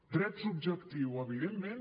drets subjectius evidentment